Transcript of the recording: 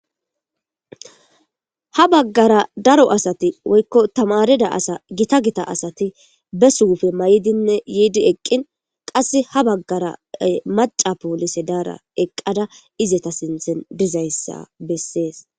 ha baggara daro asati woykko tamarida asa gita gita asati be suufe may7dinne yiidi eqqin qasse ha baggara maca poolise daara eqqada izeta sinthen dizayssa bessees